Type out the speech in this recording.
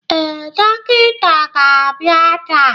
Ee, dọkịta ga-abịa taa.